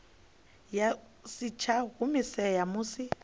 ya si tsha humisea musi